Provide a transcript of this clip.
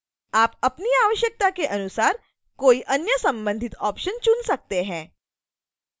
आप अपनी आवश्यकता के अनुसार कोई अन्य संबंधित ऑप्शन चुन सकते हैं